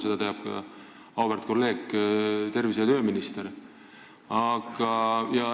Seda teab ka auväärt kolleeg, tervise- ja tööminister.